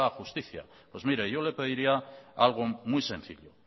justicia pues mire yo le pediría algo muy sencillo